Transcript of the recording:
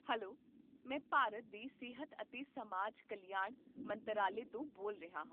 Hello! ਮੈਂ ਭਾਰਤ ਦੇ ਸਿਹਤ ਅਤੇ ਸਮਾਜ ਕਲਿਆਣ ਮੰਤਰਾਲੇ ਤੋਂ ਬੋਲ ਰਿਹਾ ਹਾਂ